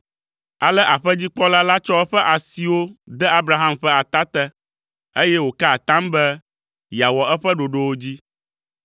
Ale aƒedzikpɔla la tsɔ eƒe asiwo de Abraham ƒe ata te, eye wòka atam be yeawɔ eƒe ɖoɖowo dzi.